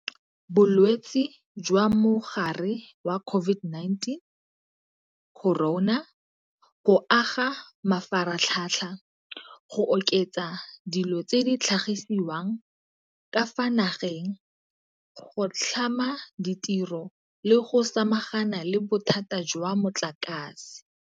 Bo lwetse jwa Mogare wa Corona, COVID-19, go aga mafaratlhatlha, go oketsa dilo tse di tlhagisiwang ka fa nageng, go tlhama ditiro le go samagana le bothata jwa motlakase.